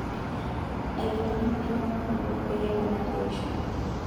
Ailepunyie empiron onkulupwok peyie eponari eishioi.